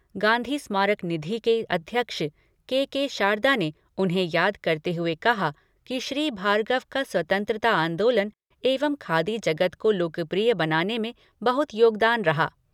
गांधी स्मारक निधि के अध्यक्ष, के. के. शारदा ने उन्हें याद करते हुए कहा कि श्री भार्गव का स्वतंत्रता आंदोलन एवं खादी जगत को लोकप्रिय बनाने में बहुत योगदान रहा।